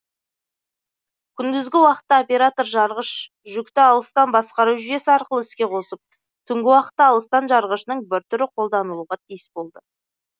күндізгі уақытта оператор жарғыш жүкті алыстан басқару жүйесі арқылы іске қосып түнгі уақытта алыстан жарғышының бір түрі қолданылуға тиіс болды